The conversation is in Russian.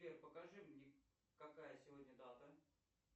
сбер покажи мне какая сегодня дата